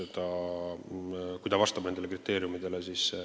Ta peab muidugi vastama nendele kriteeriumitele.